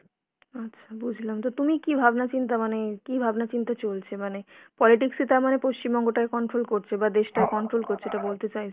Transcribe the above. আচ্ছা বুঝলাম। তো তুমি কী ভাবনা-চিন্তা মানে কী ভাবনা-চিন্তা চলছে? মানে politics ই তার মানে পশ্চিমবঙ্গটাকে control করছে বা দেশটাকে control করছে এটা বলতে চাইছো!